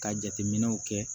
Ka jateminɛw kɛ